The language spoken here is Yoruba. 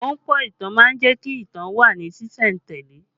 Ahunpọ̀ ìtàn má ń jẹ́ kí ìtàn ó wà ní sìsẹ̀ntele